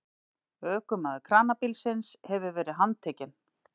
Ökumaður kranabílsins hefur verið handtekinn